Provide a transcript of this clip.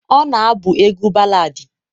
ọ na-abụ egwu baladi.